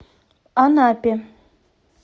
анапе